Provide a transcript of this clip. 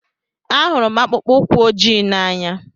Ahụrụ m akpụkpọ ụkwụ ojii n'anya.